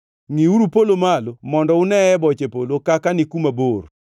Ngʼiuru polo malo mondo unee boche polo kaka ni kuma bor.